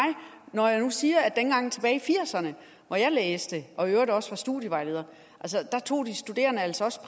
når jeg nu siger at dengang tilbage i nitten firserne hvor jeg læste og i øvrigt også var studievejleder tog de studerende altså også